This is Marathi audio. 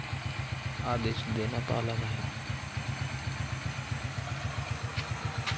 आदेश देण्यात आला नाही.